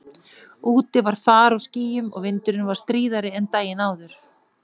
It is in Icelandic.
Úti var far á skýjum og vindurinn var stríðari en daginn áður.